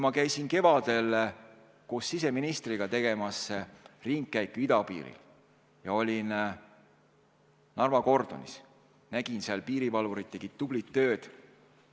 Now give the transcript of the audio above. Ma käisin kevadel koos siseministriga ringkäigul idapiiril ja Narva kordonis ma nägin, et piirivalvurid tegid seal tublit tööd.